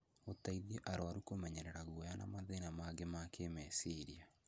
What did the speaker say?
gũteithia arũaru kũmenyerera guoya na mathĩna mangĩ ma kĩĩmeciria.